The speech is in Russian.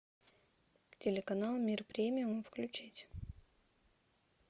телеканал мир премиум включить